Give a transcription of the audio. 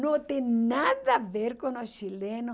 Não tem nada a ver com os chilenos.